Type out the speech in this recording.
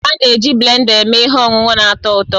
A na-eji blenda eme ihe ọṅụṅụ na-atọ ụtọ